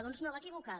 doncs no va equivocada